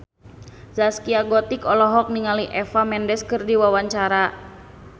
Zaskia Gotik olohok ningali Eva Mendes keur diwawancara